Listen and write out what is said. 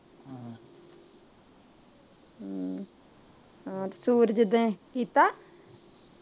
ਕੀਤਾ